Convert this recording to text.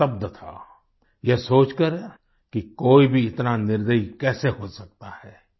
वह स्तब्ध था यह सोचकर कि कोई भी इतना निर्दयी कैसे हो सकता है